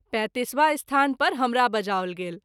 ३५वां स्थान पर हमरा बजाओल गेल।